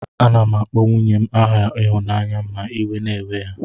Anam akpọ nwunyen aha ihunanya ma iwe na ewe ya.